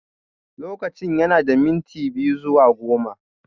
Lokacin yana da minti biyu zuwa goma